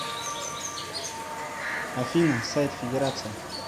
афина сайт федерация